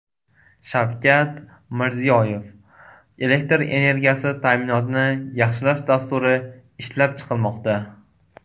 Shavkat Mirziyoyev: Elektr energiyasi ta’minotini yaxshilash dasturi ishlab chiqilmoqda.